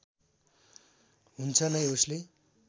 हुन्छ नै उसले